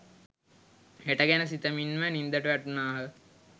හෙට ගැන සිතමින්ම නින්දට වැටුනාහ